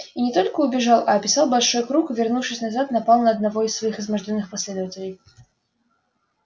и не только убежал а описал большой круг и вернувшись назад напал на одного из своих измождённых последователей